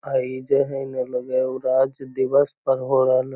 आ इ जे हय ने लगे हय उ राज दिवस पर हो रहल --